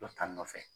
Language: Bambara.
Dɔ ta nɔfɛ